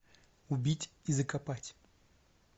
убить и закопать